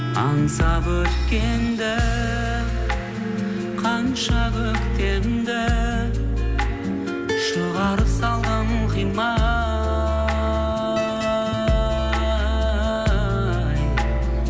аңсап өткенді қанша көктемді шығарып салдым қимай